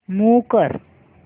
move कर